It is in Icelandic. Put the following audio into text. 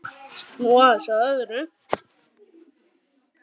Nú aðeins að öðru.